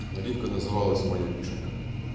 наливка называлась моя вишенка